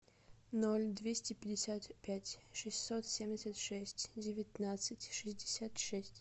ноль двести пятьдесят пять шестьсот семьдесят шесть девятнадцать шестьдесят шесть